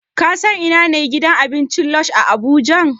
Ka san ina ne gidan abincin Lush a Abuja?